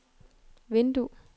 vindue